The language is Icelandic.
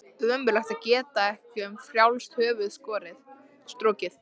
Ömurlegt að geta ekki um frjálst höfuð strokið.